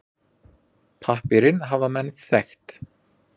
Pappírinn hafa menn þekkt.